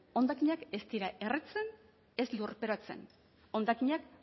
hondakinak ez dira erretzen ez lurperatzen hondakinak